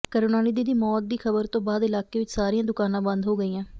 ਕਰੁਣਾਨਿਧੀ ਦੀ ਮੌਤ ਦੀ ਖ਼ਬਰ ਤੋਂ ਬਾਅਦ ਇਲਾਕੇ ਵਿੱਚ ਸਾਰੀਆਂ ਦੁਕਾਨਾਂ ਬੰਦ ਹੋ ਗਈਆਂ